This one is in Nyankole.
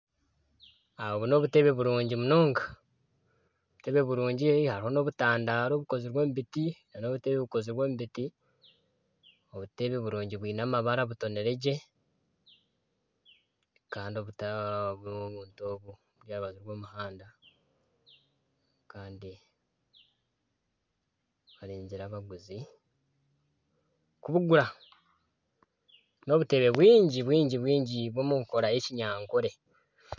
Obu n'obutebe burungi munonga hariho n'obutandaaro obukozirwe omu biti nana obutebe bukozirwe omu biti bwine amabara butoniregye Kandi buri aha rubaju rw'omuhanda Kandi barinzire abaguzi kubugura. N'obutebe bwingi munonga bukozirwe omu nkora y'ekinyankore.